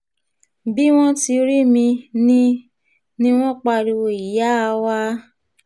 bí wọ́n ti rí mi ni ni wọ́n pariwo ìyáa wa